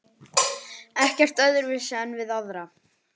Ekkert öðruvísi en við aðra.